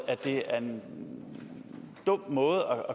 at det er en dum måde